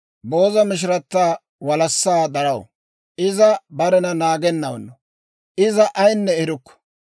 Booza mishirata walassaa daraw; iza barena naagenawunno. Iza ayinne erukku.